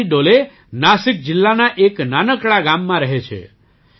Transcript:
શિવાજી ડોલે નાસિક જિલ્લાના એક નાનકડા ગામમાં રહે છે